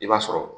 I b'a sɔrɔ